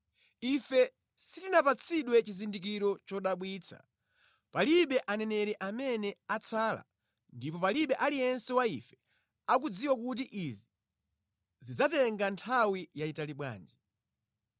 Ife sitinapatsidwe chizindikiro chodabwitsa; palibe aneneri amene atsala ndipo palibe aliyense wa ife akudziwa kuti izi zidzatenga nthawi yayitali bwanji.